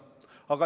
Head kolleegid!